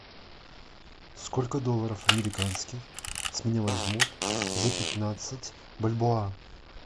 сколько долларов американских с меня возьмут за пятнадцать бальбоа